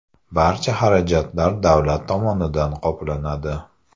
Barcha xarajatlar davlat tomonidan qoplanadi.